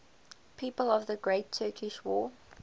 people of the great turkish war